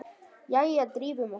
Jæja, drífum okkur!